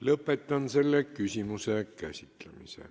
Lõpetan selle küsimuse käsitlemise.